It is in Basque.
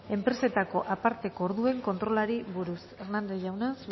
enpresetako aparteko orden kontrolari buruz hernández jauna